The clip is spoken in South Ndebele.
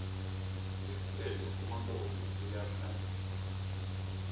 ngesikhethu umakoti uyahlambisa